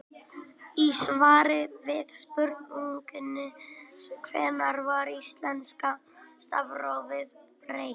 Í svari við spurningunni Hvenær var íslenska stafrófinu breytt?